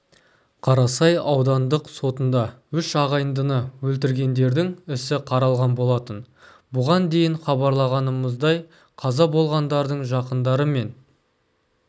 қарасай аудандық сотында үш ағайындыны өлтіргендердің ісі қаралған болатын бұған дейін хабарлағанымыздай қаза болғандардың жақындары мен